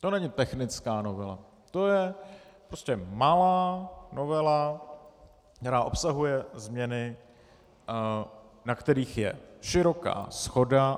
To není technická novela, to je prostě malá novela, která obsahuje změny, na kterých je široká shoda.